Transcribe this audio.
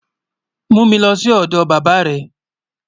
Mú mi lọ́ sí ọdọ bàbá rẹ̀.